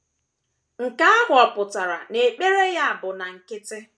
Nke ahụ ọ̀ pụtara na ekpere ya bụ na nkịtị?